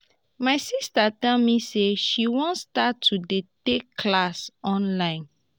my sister tell me say she wan start to dey take classes online